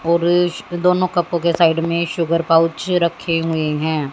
और इसकी दोनों कपो के साइड में शुगर पाउच रखे हुए है।